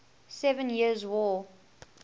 seven years war